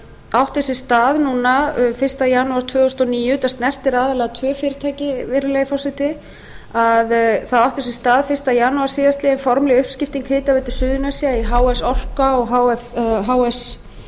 átti sér stað núna fyrsta janúar tvö þúsund og níu þetta snertir aðallega tvö fyrirtæki virðulegi forseti þá átti sér stað fyrsta janúar síðastliðnum formleg uppskipting hitaveitu suðurnesja í h f orka og h f